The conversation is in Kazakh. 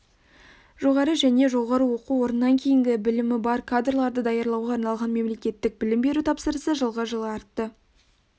жоғары және жоғары оқу орнынан кейінгі білімі бар кадрларды даярлауға арналған мемлекеттік білім беру тапсырысы жылғы жылы артты